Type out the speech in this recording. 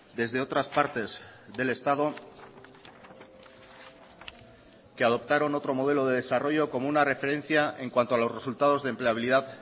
desde otras partes del estado que adoptaron otro modelo de desarrollo como una referencia en cuanto a los resultados de empleabilidad